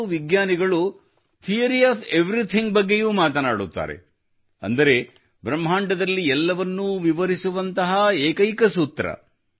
ಈಗಂತೂ ವಿಜ್ಞಾನಿಗಳು theory of everything ಬಗ್ಗೆಯೂ ಮಾತನಾಡುತ್ತಾರೆ ಅಂದರೆ ಬ್ರಹ್ಮಾಂಡದಲ್ಲಿ ಎಲ್ಲವನ್ನೂ ವಿವರಿಸುವಂತಹ ಏಕೈಕ ಸೂತ್ರ